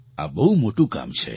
આ બહુ મોટું કામ છે